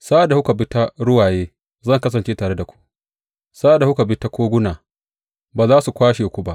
Sa’ad da kuka bi ta ruwaye, zan kasance tare da ku; sa’ad da kuka bi ta koguna, ba za su kwashe ku ba.